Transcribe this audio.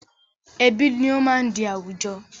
Ẹbí ni ó máa ń di àwùjọ